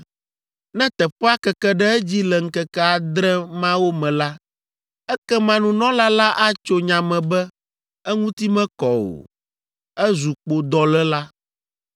Ne teƒea keke ɖe edzi le ŋkeke adre mawo me la, ekema nunɔla la atso nya me be eŋuti mekɔ o, ezu kpodɔléla.